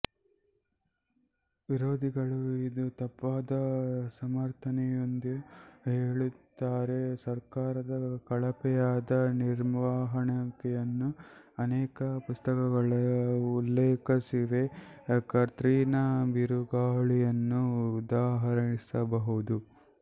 ವಿರೋಧಿಗಳು ಇದು ತಪ್ಪಾದ ಸಮರ್ಥನೆಯೆಂದು ಹೇಳುತ್ತಾರೆ ಸರ್ಕಾರದ ಕಳಪೆಯಾದ ನಿರ್ವಹಣೆಯನ್ನು ಅನೇಕ ಪುಸ್ತಕಗಳು ಉಲ್ಲೇಖಿಸಿವೆ ಕತ್ರಿನಾ ಬಿರುಗಾಳಿಯನ್ನು ಉದಾಹರಿಸಬಹುದು